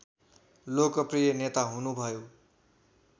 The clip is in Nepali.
लोकप्रिय नेता हुनुभयो